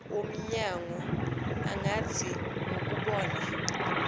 womnyango angathi ngokubona